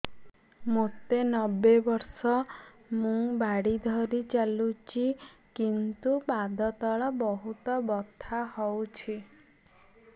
ମୋତେ ନବେ ବର୍ଷ ମୁ ବାଡ଼ି ଧରି ଚାଲୁଚି କିନ୍ତୁ ପାଦ ତଳ ବହୁତ ବଥା ହଉଛି